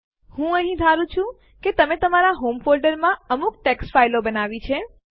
હું અહીં ધારું છું કે તમે તમાર હોમ ફોલ્ડરમાં અમુક ટેક્સ્ટ ફાઈલો બનાવી છે